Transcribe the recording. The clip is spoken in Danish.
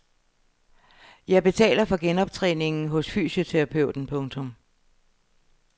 Jeg betaler for genoptræning hos fysioterapeuten. punktum